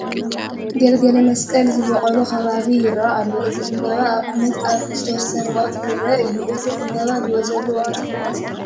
ገልገለመስቀል ዝበቖሎ ከባቢ ይርአ ኣሎ፡፡ እዚ ዕምበባ ኣብ ዓመት ኣብ ዝተወሰነ ወቕቲ ዝርአ እዩ፡፡ እዚ ዕምበባ ዝወፀሉ ወቕቲ መዓዝ እዩ?